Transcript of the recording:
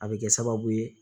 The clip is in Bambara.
A bɛ kɛ sababu ye